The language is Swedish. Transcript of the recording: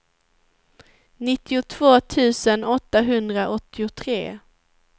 nittiotvå tusen åttahundraåttiotre